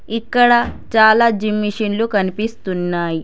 ఇక్కడ చాలా జిమ్ మిషన్లు కనిపిస్తున్నాయి.